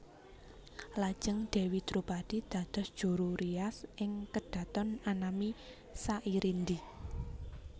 Lajeng Dèwi Dropadi dados juru rias ing kedhaton anami Sairindi